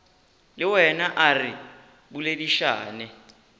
le wena a re boledišane